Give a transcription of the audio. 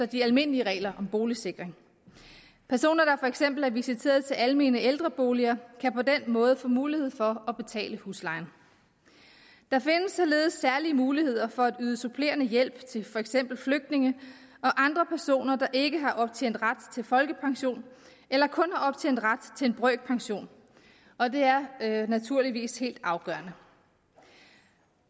de almindelige regler om boligsikring personer der for eksempel er visiteret til almene ældreboliger kan på den måde få mulighed for at betale huslejen der findes således særlige muligheder for at yde supplerende hjælp til for eksempel flygtninge og andre personer der ikke har optjent ret til folkepension eller kun har optjent ret til en brøkpension og det er naturligvis helt afgørende